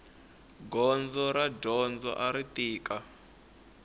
gondzo ra dyondzo ari tika